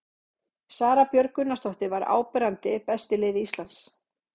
Sara Björg Gunnarsdóttir var áberandi best í liði Íslands.